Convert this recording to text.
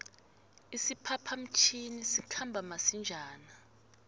isiphapha mtjhini sikhamba masinjana